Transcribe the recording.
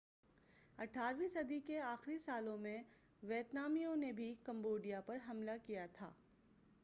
اٹھارویں صدی کے آخری سالوں میں ویتنامیوں نے بھی کمبوڈیا پر حملہ کیا تھا